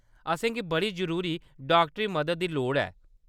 असेंगी बड़ी जरूरी डाक्टरी मदद दी लोड़ ऐ।